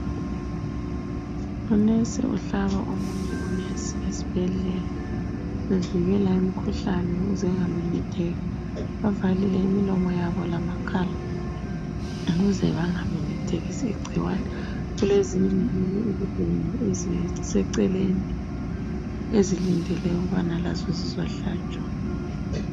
Unesi uhlaba omunye unesi esibhedlela bevikela imikhuhlane ukuze ingamemetheki. Bavalile imilomo yabo lamakhala ukuze bangamemethekisi igcikwane. Kulezinye iziguli eziseceleni ezilindele ukubana lazo zizohlatshwa.